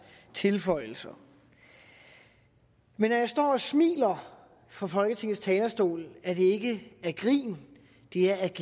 tilføjelser men når jeg står og smiler fra folketingets talerstol er det ikke af grin det er af